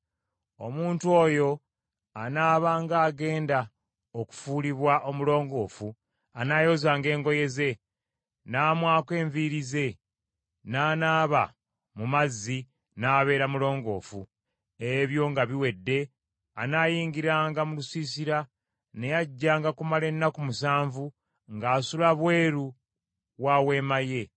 Omuntu oyo anaabanga agenda okufuulibwa omulongoofu anaayozanga engoye ze, n’amwako enviiri ze, n’anaaba mu mazzi, n’abeera mulongoofu. Ebyo nga biwedde anaayingiranga mu lusiisira, naye ajjanga kumala ennaku musanvu ng’asula bweru wa weema ye.